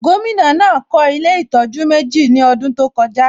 Gómìnà náà kọ́ ilé ìtọ́jú méjì ní ọdún tó kọjá